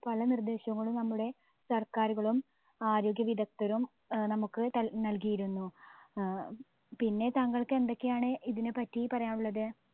പല നിർദേശങ്ങളും നമ്മുടെ സർക്കാരുകളും ആരോഗ്യ വിധക്തരും ഏർ നമ്മുക്ക് തൽ നൽകിയിരുന്നു. ഏർ പിന്നെ താങ്കൾക്ക് എന്തൊക്കെയാണ് ഇതിനെപറ്റി പറയാനുള്ളത്